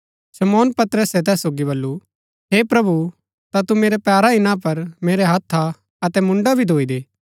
शमौन पतरसे तैस सोगी बल्लू हे प्रभु ता तू मेरै पैरा ही ना पर मेरै हत्था अतै मुन्डा भी धोई दे